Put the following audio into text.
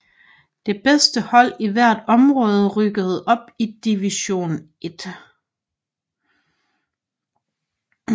Det bedste hold i hvert område rykkede op i Division I